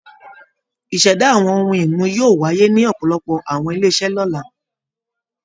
Ìṣẹ̀dá àwọn ohun-ìmu yóò wáyé ní ọ̀pọ̀lọpọ̀ àwọn ilé-iṣẹ́ lọ́la.